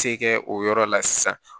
Se kɛ o yɔrɔ la sisan